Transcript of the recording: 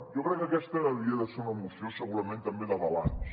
jo crec que aquesta havia de ser una moció segurament també de balanç